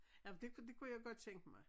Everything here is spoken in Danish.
Nej men det kunne det kunne jeg godt tænke mig